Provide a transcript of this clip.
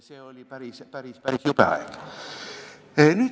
See oli päris jube aeg.